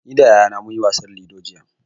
Ni da yayana mun yi wasar lido jiya.